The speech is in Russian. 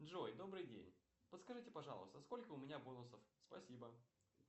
джой добрый день подскажите пожалуйста сколько у меня бонусов спасибо